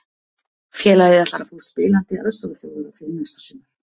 Félagið ætlar að fá spilandi aðstoðarþjálfara fyrir næsta sumar.